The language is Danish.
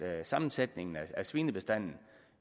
at sammensætningen af svinebestanden